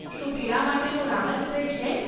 શું પીડા માટેનો રાહત સ્પ્રે છે?